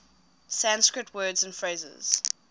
sanskrit words and phrases